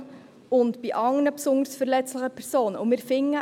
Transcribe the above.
] und bei anderen besonders verletzlichen Personen […]».